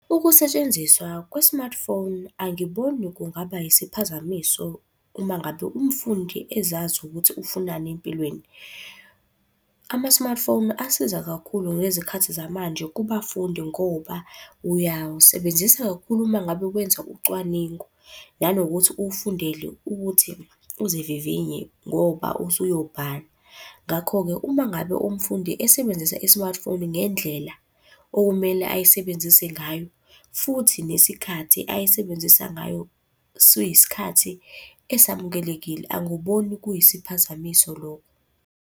Ukusetshenziswa kwe-smartphone angiboni kungaba isiphazamiso uma ngabe umfundi ezazi ukuthi ufunani empilweni. Ama-smartphone asiza kakhulu ngezikhathi zamanje kubafundi ngoba, uyawusebenzisa kakhulu uma ngabe wenza ucwaningo. Nanokuthi uwufundele ukuthi uzivivinye ngoba usuyobhala. Ngakho-ke, uma ngabe umfundi esebenzisa i-smartphone ngendlela okumele ayisebenzise ngayo, futhi nesikhathi ayisebenzisa ngayo suyisikhathi esamukelekile, angiboni kuyisiphazamiso lokho.